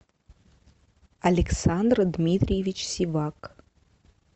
александр дмитриевич сивак